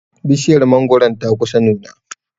Bishiyar mangoron ta kusa nuna.